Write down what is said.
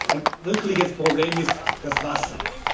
Ein wirkliches Problem ist das Wasser.